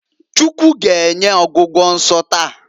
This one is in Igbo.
Chukwu g'enye ọgwụgwọ nso taa.